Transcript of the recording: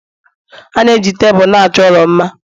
Ana eji Tebụl na-achọ ụlọ mma